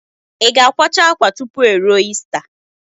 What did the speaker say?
I ga-akwacha akwa tupu eruo ista